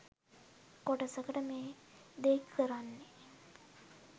කොටසකට මේ දේ කරන්නෙ